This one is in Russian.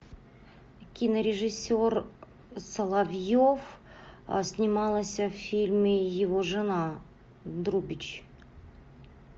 кинорежиссер соловьев снималась в фильме его жена друбич